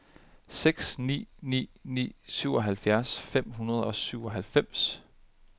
seks ni ni ni syvoghalvfjerds fem hundrede og syvoghalvfems